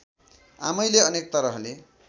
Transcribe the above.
आमैले अनेक तरहले